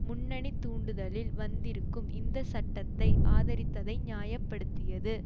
முன்னணி தூண்டுதலில் வந்திருக்கும் இந்த சட்டத்தை ஆதரித்ததை நியாயப்படுத்தியது